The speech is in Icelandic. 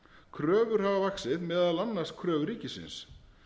kröfur hafa vaxið meðal annars kröfur ríkisins